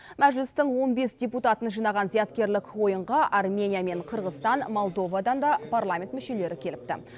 мәжілістің он бес депутатын жинаған зияткерлік ойынға армения мен қырғызстан молдовадан да парламент мүшелері келіпті